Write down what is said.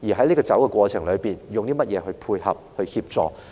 在走的過程中，我們要以甚麼來配合、協助？